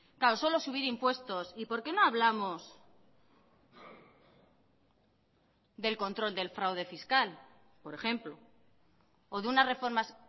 claro solo subir impuestos y por qué no hablamos del control del fraude fiscal por ejemplo o de unas reformas